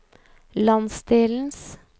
landsdelens